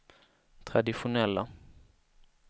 traditionella